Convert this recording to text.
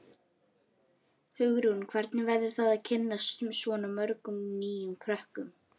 Hugrún: Hvernig verður það að kynnast svona mörgum nýjum krökkum?